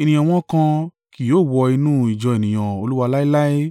ènìyàn wọn kan kì yóò wọ inú ìjọ ènìyàn Olúwa láéláé.